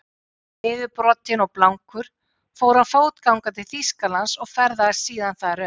Niðurbrotinn og blankur fór hann fótgangandi til Þýskalands og ferðaðist síðan þar um.